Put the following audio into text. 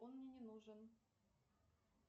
он мне не нужен